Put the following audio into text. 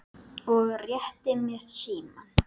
og rétti mér símann.